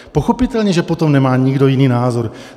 Pochopitelně že potom nemá nikdo jiný názor.